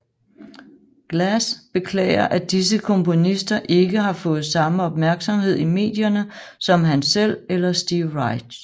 Glass beklager at disse komponister ikke har fået samme opmærksomhed i medierne som han selv eller Steve Reich